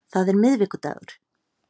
Það er miðvikudagur.